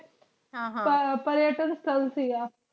ਆਯ operator ਥਲ ਸੀਗਾ